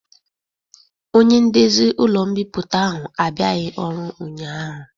Onye ndezi ụlọ mbipụta ahụ abịaghị ọrụ ụnyaahụ.